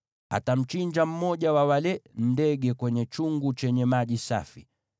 Atamchinja mmoja wa wale ndege kwenye chungu chenye maji safi.